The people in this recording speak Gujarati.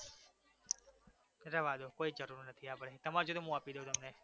રહેવા દો કોઈ જ જરૂર નથી આપણે તમારે જોતા હોય તો હું આપી દવ તમને